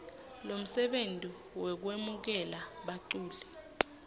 lomsebenti wekwemukela baculi